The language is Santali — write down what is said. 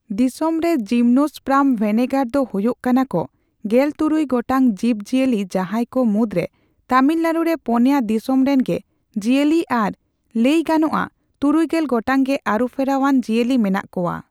ᱫᱤᱥᱚᱢ ᱨᱮ ᱡᱤᱢᱱᱳᱥᱯᱨᱟᱢ ᱵᱷᱮᱱᱮᱜᱟᱨ ᱫᱚ ᱦᱳᱭᱳᱜ ᱠᱟᱱᱟᱠᱚ ᱜᱮᱞᱛᱩᱨᱩᱭ ᱜᱚᱴᱟᱝ ᱡᱤᱵᱽ ᱡᱤᱭᱟᱹᱞᱤ, ᱡᱟᱦᱟᱸᱭ ᱠᱚ ᱢᱩᱫᱽ ᱨᱮ ᱛᱟᱢᱤᱞᱱᱟᱲᱩ ᱨᱮ ᱯᱳᱱᱭᱟ ᱫᱤᱥᱚᱢ ᱨᱮᱱ ᱜᱮ ᱡᱤᱭᱟᱹᱞᱤ ᱟᱨ ᱞᱟᱹᱭ ᱜᱟᱱᱚᱜᱼᱟ ᱛᱩᱨᱩᱭᱜᱮᱞ ᱜᱚᱴᱟᱝ ᱜᱮ ᱟᱹᱨᱩ ᱯᱷᱮᱨᱟᱣ ᱟᱱ ᱡᱤᱭᱟᱹᱞᱤ ᱢᱮᱱᱟᱜ ᱠᱚᱣᱟ ᱾